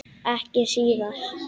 Ekki síðar.